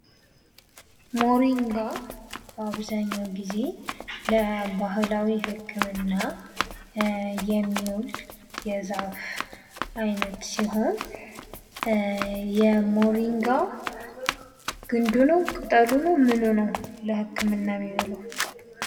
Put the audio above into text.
ሞሪንጋ በአብዛኛው ጊዜ ለባህላዊ ህክምና የሚሆን የዛፍ አይነት ሲሆን የሞሪንጋ ኝዱ ነው፣ ቅጠሉ ነው፣ ምኑ ነው ለህክምና የሚውለው?